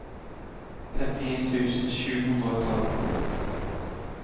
femtien tusen sju hundre og tolv